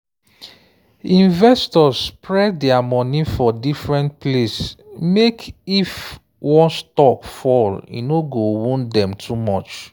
investors suppose spread dia money for different place mek if one stock fall e no go wound dem too much.